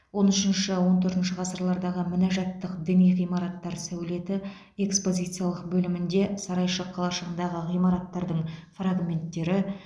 он үшінші он төртінші ғасырлардағы мінәжатттық діни ғимараттар сәулеті экспозициялық бөлімінде сарайшық қалашығындағы ғимараттардың фрагменттері